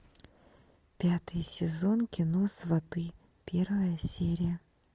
пятый сезон кино сваты первая серия